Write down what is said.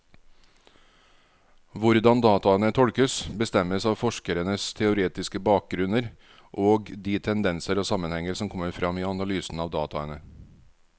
Hvordan dataene tolkes, bestemmes av forskerens teoretiske bakgrunnen og de tendenser og sammenhenger som kommer frem i analysen av dataene.